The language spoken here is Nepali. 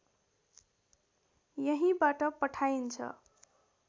यहीँबाट पठाइन्छ